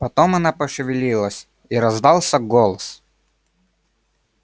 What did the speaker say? потом она пошевелилась и раздался голос